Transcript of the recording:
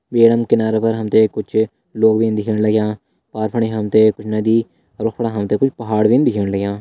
बेडम किनारा पर हमते कुछ लोग भी न दिखेण लग्यां पार फणी कुछ नदी अर वख फणा हमते कुछ पहाड़ भी न दिखेण लग्यां।